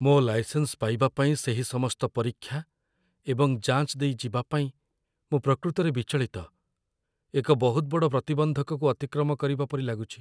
ମୋ ଲାଇସେନ୍ସ ପାଇବା ପାଇଁ ସେହି ସମସ୍ତ ପରୀକ୍ଷା ଏବଂ ଯାଞ୍ଚ ଦେଇ ଯିବା ପାଇଁ ମୁଁ ପ୍ରକୃତରେ ବିଚଳିତ। ଏକ ବହୁତ ବଡ଼ ପ୍ରତିବନ୍ଧକକୁ ଅତିକ୍ରମ କରିବା ପରି ଲାଗୁଛି